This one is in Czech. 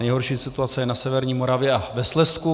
Nejhorší situace je na severní Moravě a ve Slezsku.